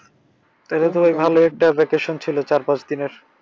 তাহলেতো ভাই ভালোই ছিল চার পাঁচ দিনের।